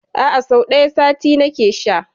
A'a, sau ɗaya a sati nake sha.